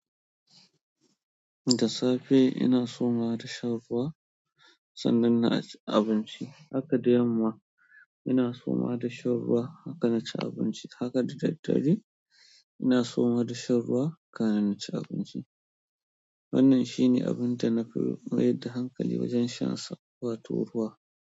Da safe ina somawa da shan ruwa sannan na ci abinci. Haka da yamma ina somawa da shan ruwa, haka na ci abinci. Haka da daddare ina somawa da shan ruwa, kan in ci abinci. Wannan shine abin da na fi mayar da hankali wajen shan sa wato ruwa.